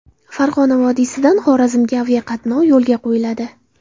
Farg‘ona vodiysidan Xorazmga aviaqatnov yo‘lga qo‘yiladi.